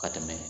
Ka tɛmɛ